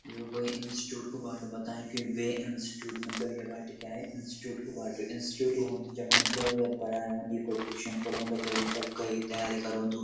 यो कुई इंस्टिट्यूट कु बाटू बताई कि वे इंस्टिट्यूट मतलब ये बाटिका है इंस्टिट्यूट कु बाटू इंस्टिट्यूट वू हन्दू जख मतलब पढाया वा नी कुई ट्यूशन पड़ोदु कोई मतलब कई तैयारी करोंदु।